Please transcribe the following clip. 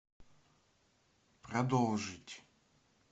продолжить